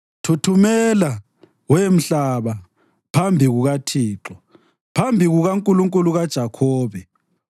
Thuthumela, we mhlaba, phambi kukaThixo, phambi kukaNkulunkulu kaJakhobe,